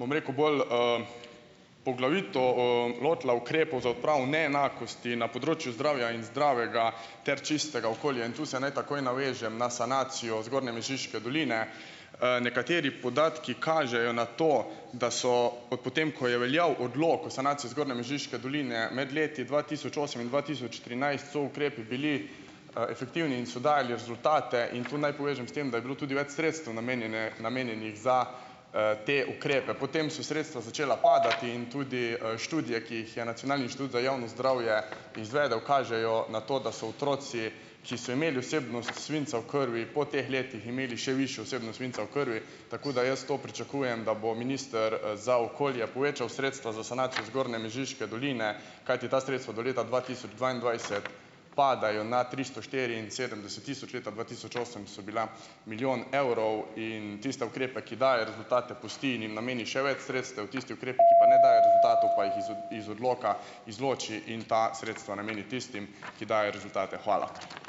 bom rekel, bolj, poglavitno, lotila ukrepov za odpravo neenakosti na področju zdravja in zdravega ter čistega okolja in tu se naj takoj navežem na sanacijo zgornje Mežiške doline. Nekateri podatki kažejo na to, da so potem, ko je veljal odlok o sanaciji zgornje Mežiške doline med leti dva tisoč osem in dva tisoč trinajst, so ukrepi bili, efektivni in so dajali rezultate in tu naj povežem s tem, da je bilo tudi več sredstev namenjene namenjenih za, te ukrepe. Potem so sredstva začela padati in tudi, študije, ki jih je nacionalni inštitut za javno zdravje izvedel, kažejo na to, da so otroci, ki so imeli vsebnost svinca v krvi, po teh letih imeli še višjo vsebnost svinca v krvi, tako da jaz to pričakujem, da bo minister za okolje povečal sredstva za sanacijo zgornje Mežiške doline, kajti ta sredstva do leta dva tisoč dvaindvajset padajo na tristo štiriinsedemdeset tisoč, leta dva tisoč osem so bila milijon evrov in tiste ukrepe, ki dajejo rezultate, pusti in jim nameni še več sredstev. Tisti ukrepi, ki pa ne dajejo rezultatov pa jih iz iz odloka izloči in ta sredstva nameni tistim, ki dajejo rezultate. Hvala.